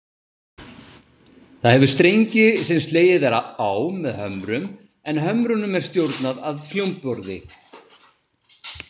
Það hefur strengi sem slegið er á með hömrum, en hömrunum er stjórnað af hljómborði.